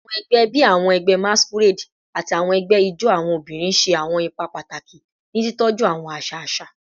Awọn ẹgbẹ bii awọn ẹgbẹ masquerade ati awọn ẹgbẹ ijó awọn obinrin ṣe awọn ipa pataki ni titọju awọn aṣa aṣa